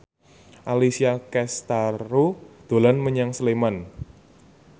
Alessia Cestaro dolan menyang Sleman